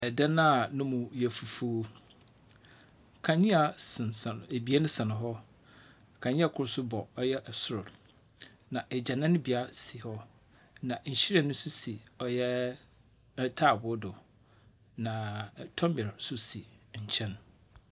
Dan a no mu yɛ fufuw. Kandzea sensɛn ebien sɛn hɔ. Kandzea kor nso bɔ ɔyɛ sor, na egyananbea si hɔ. Na nhyiren nso si ɔyɛ ntaabow do, na tɔmber nso si nkyɛn.